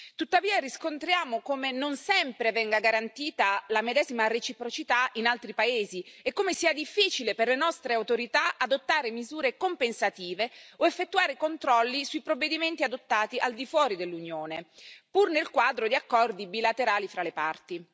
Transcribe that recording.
Tuttavia riscontriamo come non sempre venga garantita la medesima reciprocità in altri paesi e come sia difficile per le nostre autorità adottare misure compensative o effettuare controlli sui provvedimenti adottati al di fuori dell'Unione, pur nel quadro di accordi bilaterali fra le parti.